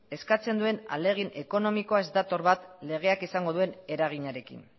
eskatzen duen ahalegin ekonomikoa ez dator bat legeak izango duen eraginarekin